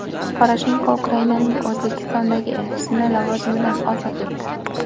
Poroshenko Ukrainaning O‘zbekistondagi elchisini lavozimidan ozod etdi.